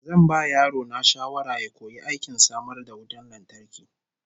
Zan ba yaro na shawara ya koyi aikin samar da wutar lantarki